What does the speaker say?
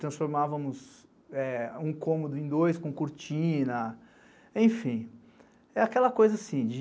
Transformávamos um cômodo em dois com cortina, enfim, é aquela coisa assim de...